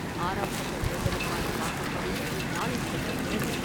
ஆறாம் கட்ட தேர்தலுக்கான வாக்குப்பதிவு நாளை நடைபெறுகிறது.